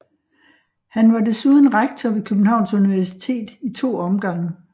Han var desuden rektor ved Københavns Universitet i to omgange